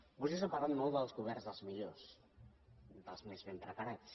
vostès han parlat molt dels governs dels millors dels més ben preparats